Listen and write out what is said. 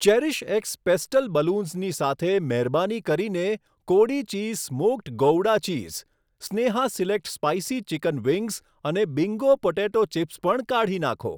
CherishX pastel બલૂન્સની સાથે મહેરબાની કરીને કોડી cheese smoked gouda cheese, Sneha select spicy chicken wings અને બિંગો પોટેટો ચિપ્સ પણ કાઢી નાંખો.